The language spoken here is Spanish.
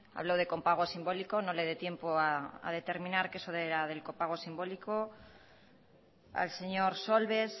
habló de copago simbólico no le dio tiempo a determinar que era eso del copago simbólico al señor solbes